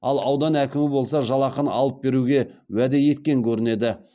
ал аудан әкімі болса жалақыны алып беруге уәде еткен көрінеді